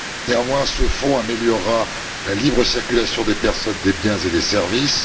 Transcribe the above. Néanmoins, ce fonds améliorera la libre circulation des personnes, des biens et des services.